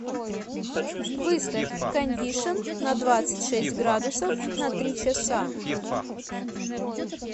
выставь кондишн на двадцать шесть градусов на три часа